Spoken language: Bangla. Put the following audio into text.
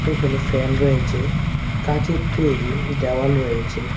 এখানে ফ্যান রয়েছে কাচের তৈরি দেওয়াল রয়েছে।